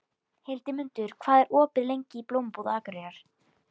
Hildimundur, hvað er opið lengi í Blómabúð Akureyrar?